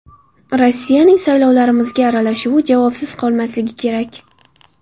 Rossiyaning saylovlarimizga aralashuvi javobsiz qolmasligi kerak.